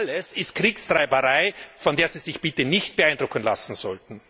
Das alles ist Kriegstreiberei, von der Sie sich bitte nicht beeindrucken lassen sollten.